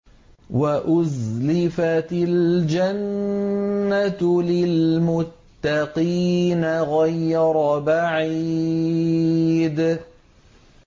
وَأُزْلِفَتِ الْجَنَّةُ لِلْمُتَّقِينَ غَيْرَ بَعِيدٍ